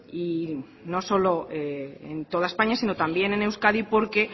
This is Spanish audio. y no solo en toda españa sino también en euskadi porque